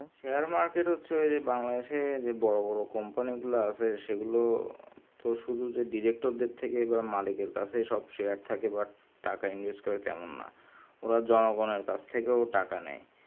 share market হচ্ছে বাংলাদেশ যে বড়ো বড়ো company গুলো আছে সেগুলো শুধু তো director দেড় থেকে বা মালিক এর কাছে সব share থাকে টাকা invest করে তেমন না ওর জনগণের কাছে টাকা নেই